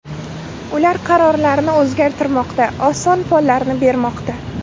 Ular qarorlarini o‘zgartirmoqda, oson follarni bermoqda.